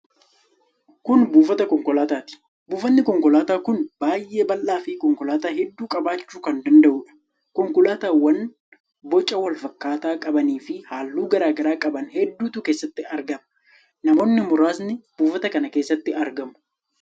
Kun buufata konkolaataati. Buufatni konkolaataa kun baay'ee bal'aafi konkolaataa hedduu qabaachuu kan danda'udha. Konkolaataawwan boca wal fakkaataa qabaniifi halluu garaa garaa qaban hedduutu keessatti argama. Namoonni muraasnis buufata kan keessatti argamu.